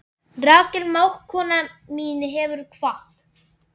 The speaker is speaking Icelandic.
Rakel mágkona mín hefur kvatt.